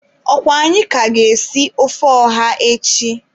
Ọkwa anyị ka ga-esi ofe ọha echi?